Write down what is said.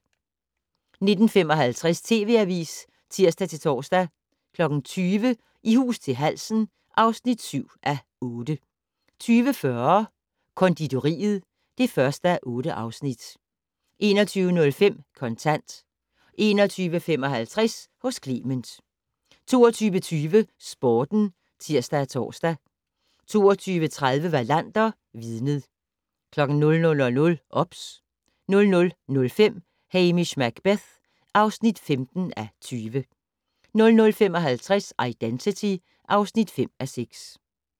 19:55: TV Avisen (tir-tor) 20:00: I hus til halsen (7:8) 20:40: Konditoriet (1:8) 21:05: Kontant 21:55: Hos Clement 22:20: Sporten (tir-tor) 22:30: Wallander: Vidnet 00:00: OBS 00:05: Hamish Macbeth (15:20) 00:55: Identity (5:6)